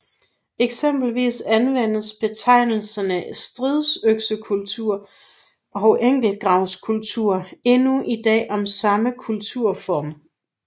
Eksempelvis anvendes betegnelserne stridsøksekultur og enkeltgravskultur endnu i dag om samme kulturform